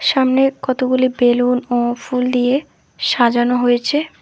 সামনে কতগুলি বেলুন ও ফুল দিয়ে সাজানো হয়েছে।